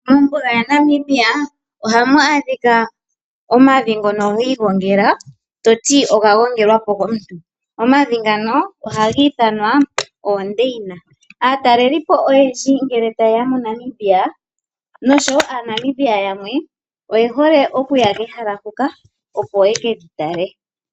Mombuga ya Namibia ohamu adhika omavi ngono gi igongela toti oga gongelwa po komuntu, omavi ngano ohaga ithanwa oondeina, aatalelipo oyendji ngele ta yeya moNamibia noshowo aaNamibia yamwe oye hole okuya kehala huka opo ye keli tale.